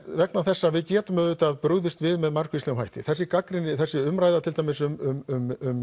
vegna þess að við getum auðvitað brugðist við með margvíslegum hætti þessi þessi umræða til dæmis um